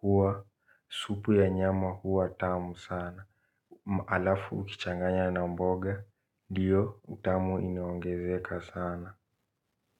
huwa. Supu ya nyama huwa tamu sana. Ma halafu ukichanganya na mboga. Ndiyo utamu inaongezeka sana.